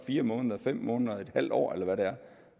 fire måneder fem måneder en halv år eller hvad det er